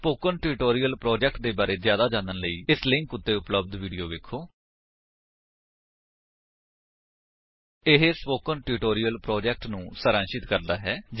spoken tutorial project ਦੇ ਬਾਰੇ ਵਿੱਚ ਜਿਆਦਾ ਜਾਣਨ ਲਈ ਇਸ ਲਿੰਕ ਉੱਤੇ ਉਪਲੱਬਧ ਵੀਡੀਓ ਵੇਖੋ http spoken tutorial org What is a Spoken Tutorial ਇਹ ਸਪੋਕਨ ਟਿਊਟੋਰਿਅਲ ਪ੍ਰੋਜੇਕਟ ਨੂੰ ਸਾਰਾਂਸ਼ਿਤ ਕਰਦਾ ਹੈ